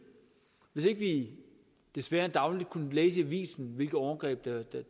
hvis ikke vi desværre dagligt kunne læse i avisen hvilke overgreb der